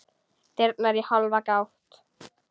Dyrnar í hálfa gátt.